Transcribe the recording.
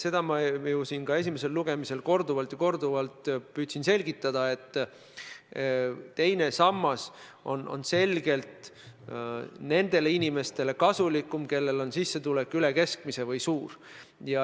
Seda ma ju püüdsin siin esimesel lugemisel korduvalt selgitada, et teine sammas on selgelt kasulikum nendele inimestele, kellel on sisstulek üle keskmise või koguni suur.